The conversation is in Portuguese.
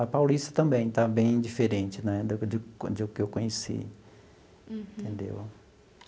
A Paulista também está bem diferente né do que do que eu conheci. Uhum. Entendeu.